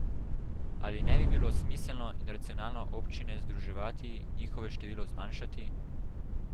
Ali ne bi bilo smiselno in racionalno občine združevati, njihovo število zmanjšati?